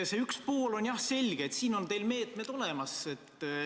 See esimene pool on jah selge: siin on teil meetmed olemas.